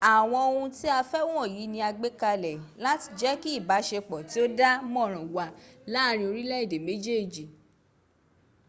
àwọn ohun tí a fẹ́ wọ̀nyí ni a gbé kalẹ̀ láti jẹ́ kí ìbáṣepọ̀ tí ó dá mọ́nrán wà láàárin orílẹ̀èdè méjèèj